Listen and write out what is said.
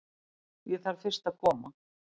Ég þarf fyrst að koma